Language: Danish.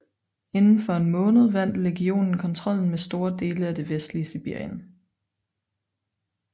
Inden for en måned vandt legionen kontrollen med store dele af det vestlige Sibirien